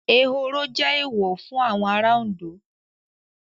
Ehoro jẹ́ Èèwọ̀ fún àwọn ará Òndó